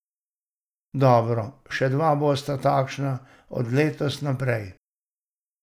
Dobro, še dva bosta takšna od letos naprej.